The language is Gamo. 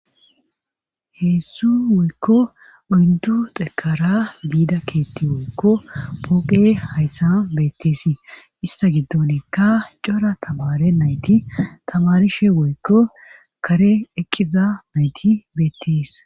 heessu woykko oyndu xekara biida keetti woykko pooqe hayssa betteesii ista giddonekka cora tamare nayti tamarishe woykko kare ekkiza nayti beettes